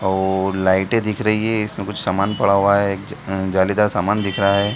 और लाइटें दिख रही है इसमें कुछ सामान पड़ा हुआ है एक अ जालीदार सामान दिख रहा है।